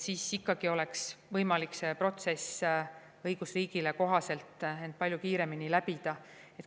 Peab olema võimalik see protsess õigusriigile kohaselt, ent palju kiiremini läbida.